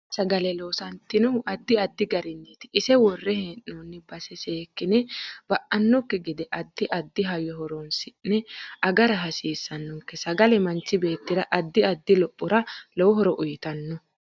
Tini sagale loosantinohu addi addi gariniiti ise worrre heenooni base seekine ba'nokki gede addi addi hayyo horoonsine agara hasiisanonke sagale manchi beetira addi addi lophora lowo horo uyiitano